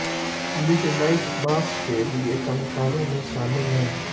midnight mass के लिए कलाकारों में शामिल हैं